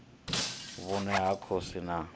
vhune ha konisa na vhutshilo